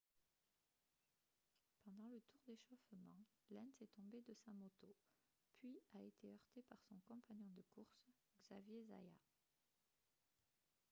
pendant le tour d'échauffement lenz est tombé de sa moto puis a été heurté par son compagnon de course xavier zayat